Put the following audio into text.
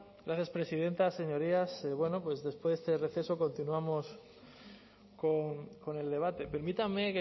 gracias presidenta señorías bueno pues después de este receso continuamos con el debate permítanme